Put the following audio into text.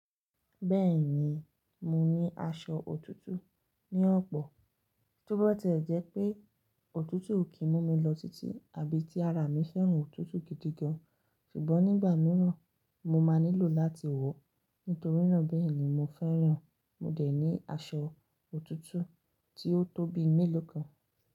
Bẹ́ẹ̀ni, mo ní aṣọ òtútù ní ọ̀pọ̀. Tó bá ti e jẹ́ pé òtútù kìí mú mi lọ títí àbí tí ara mi fẹ́ràn òtútù gidi gan, ṣùgbọ́n nígbà mìíràn mo máa nílò láti wọ̀. Nítorí náà bẹ́ẹ̀ ni mo fẹ́ràn, mo dẹ̀ ní aṣọ òtútù tí ó tó bí i mélòó kan.